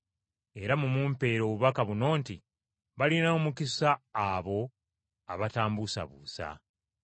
Era mumumpeere obubaka buno nti, ‘Alina omukisa oyo atanneesittalako.’ ”